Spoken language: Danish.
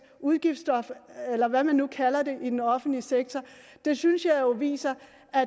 udgiftsstop eller hvad man nu kalder det i den offentlige sektor synes jeg jo viser